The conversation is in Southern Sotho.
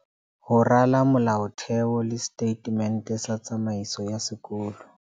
Ho rala molaotheo le setatemente sa tsamaiso ya sekolo.